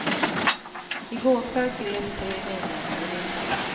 I går kväll greps tre medlemmar ur ligan.